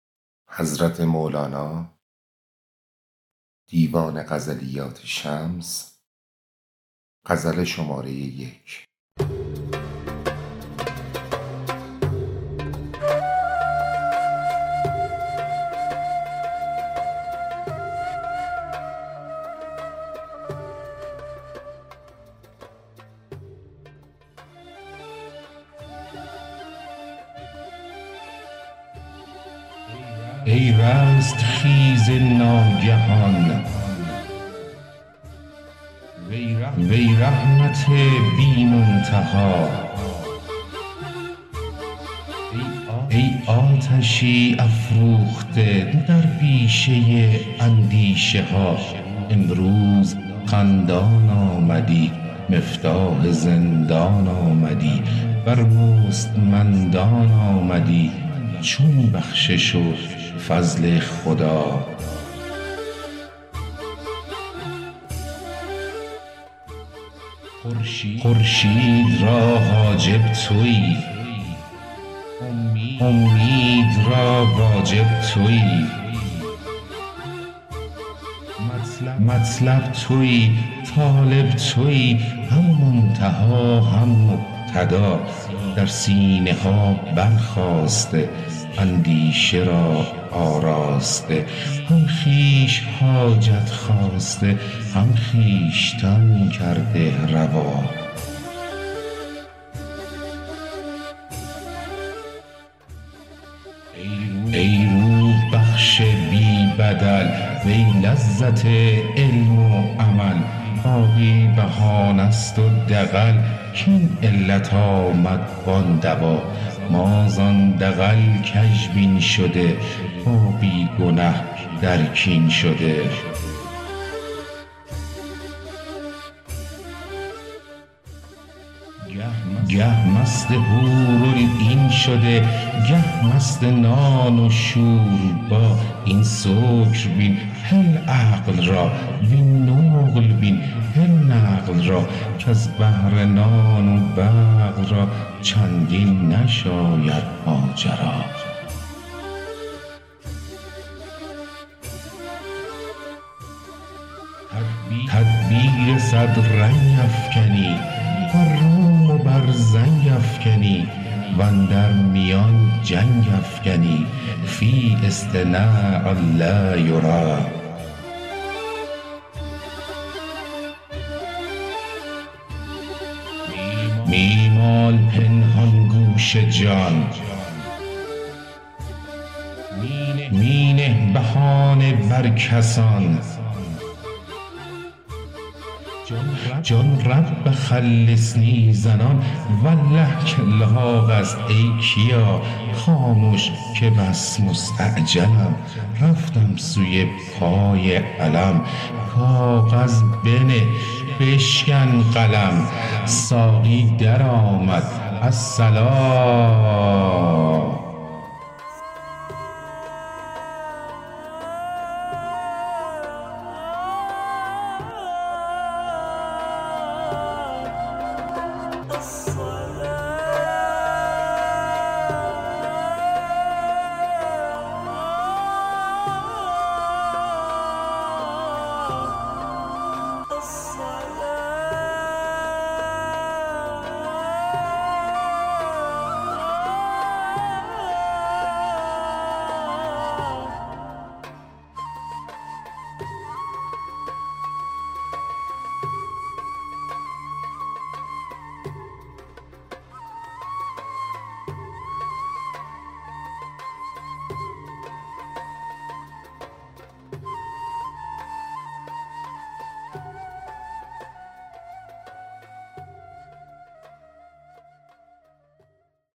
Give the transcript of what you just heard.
ای رستخیز ناگهان وی رحمت بی منتها ای آتشی افروخته در بیشه اندیشه ها امروز خندان آمدی مفتاح زندان آمدی بر مستمندان آمدی چون بخشش و فضل خدا خورشید را حاجب تویی اومید را واجب تویی مطلب تویی طالب تویی هم منتها هم مبتدا در سینه ها برخاسته اندیشه را آراسته هم خویش حاجت خواسته هم خویشتن کرده روا ای روح بخش بی بدل وی لذت علم و عمل باقی بهانه ست و دغل کاین علت آمد وان دوا ما زان دغل کژبین شده با بی گنه در کین شده گه مست حورالعین شده گه مست نان و شوربا این سکر بین هل عقل را وین نقل بین هل نقل را کز بهر نان و بقل را چندین نشاید ماجرا تدبیر صد رنگ افکنی بر روم و بر زنگ افکنی و اندر میان جنگ افکنی فی اصطناع لا یری می مال پنهان گوش جان می نه بهانه بر کسان جان رب خلصنی زنان والله که لاغ است ای کیا خامش که بس مستعجلم رفتم سوی پای علم کاغذ بنه بشکن قلم ساقی درآمد الصلا